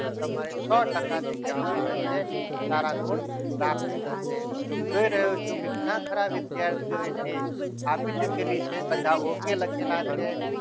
તો તમારે જે સો ટકા કહેવામાં આવે છે સારા ગુણ પ્રાપ્ત થશે જોઈ રહ્યો છું કે ઘણા ખરા વિદ્યાર્થીઓ test ચૂકેલી છે ઓકે લખેલું છે તમારે સો ટકા